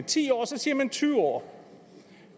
ti år og så siger man tyve år